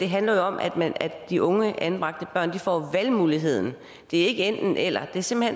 handler om at de unge anbragte børn får valgmuligheden det er ikke enten eller det er simpelt